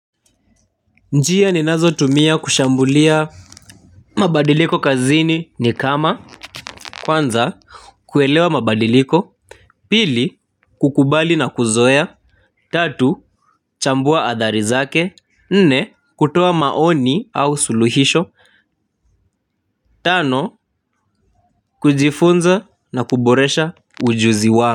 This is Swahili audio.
Njia ninazotumia kushambulia mabadiliko kazini ni kama kwanza kuelewa mabadiliko. Pili kukubali na kuzoea. Tatu chambua athari zake. Nne kutoa maoni au suluhisho. Tano kujifunza na kuboresha ujuzi wa.